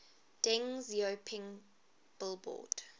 deng xiaoping billboard